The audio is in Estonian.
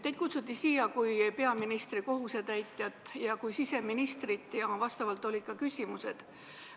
Teid kutsuti siia kui peaministri kohusetäitjat ja kui siseministrit ning sellele vastavad olid ka küsimused.